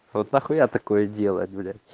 вот нахуя такое делать бля